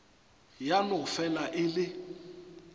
ya no fela e le